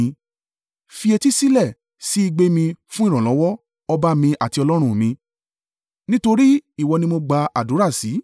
Fi etí sílẹ̀ sí igbe mi fún ìrànlọ́wọ́, ọba mi àti Ọlọ́run mi, nítorí ìwọ ni mo gba àdúrà sí.